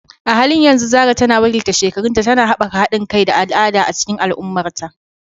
A halin yanzu Zarah tana wakiltar shekarunta, tana haɓaka haɗin kai da al'ada a cikin al'ummarta.